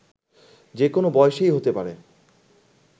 যে কোনো বয়সেই হতে পারে